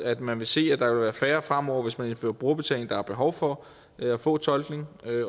at man vil se at der vil være færre fremover hvis man indfører brugerbetaling der har behov for at få tolkning